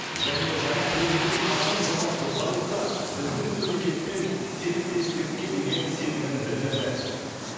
және жаңа президент қасым жомарт тоқаев та біздің мемлекетпен серіктестікке деген сенімін білдірді